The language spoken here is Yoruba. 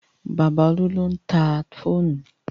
Bàbá Olú ló ń ta fóònù